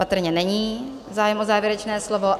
Patrně není zájem o závěrečné slovo.